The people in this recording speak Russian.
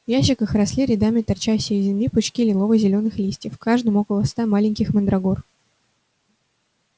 ящиках росли рядами торчащие из земли пучки лилово зелёных листьев в каждом около ста маленьких мандрагор